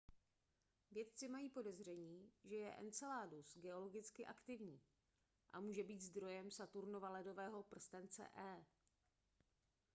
vědci mají podezření že je enceladus geologicky aktivní a může být zdrojem saturnova ledového prstence e